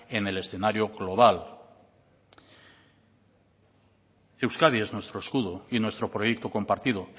en el escenario global euskadi es nuestro escudo y nuestro proyecto compartido